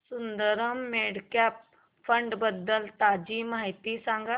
Sundaram mid cap fund बद्दल ताजी माहिती सांग